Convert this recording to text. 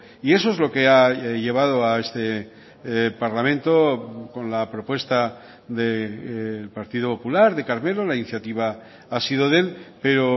y eso es lo que ha llevado a este parlamento con la propuesta del partido popular de carmelo la iniciativa ha sido de él pero